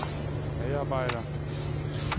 medarbejder